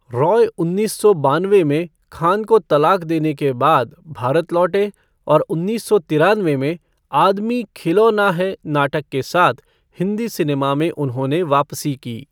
रॉय उन्नीस सौ बानवे में खान को तलाक देने के बाद भारत लौटे और उन्नीस सौ तिरानवे में 'आदमी खिलौना है' नाटक के साथ हिंदी सिनेमा में उन्होंने वापसी की।